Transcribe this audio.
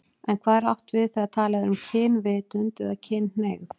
En hvað er átt við þegar talað er um kynvitund eða kynhneigð?